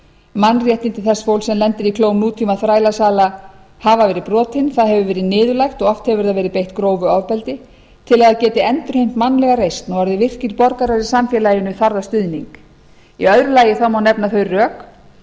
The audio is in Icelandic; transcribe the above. mannréttindi þess fólks sem lendir í klóm nútímaþrælasala hafa verið brotin það hefur verið niðurlægt og oft hefur það verið beitt grófu ofbeldi til að það geti endurheimt mannlega reisn og orðið virkir borgarar í samfélaginu þarf það stuðning í öðru lagi má nefna þau rök